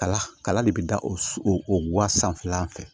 Kala kala de bɛ da o o wa sanfɛlan fɛ